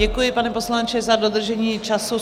Děkuji, pane poslanče, za dodržení času.